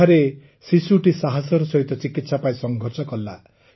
ସେଠାରେ ଶିଶୁଟି ସାହସର ସହିତ ଚିକିତ୍ସା ପାଇଁ ସଂଘର୍ଷ କଲା